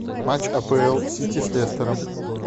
матч апл сити с лестером